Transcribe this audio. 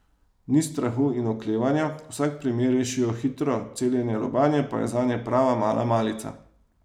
Ni strahu in oklevanja, vsak primer rešijo hitro, celjenje lobanje pa je zanje prava mala malica.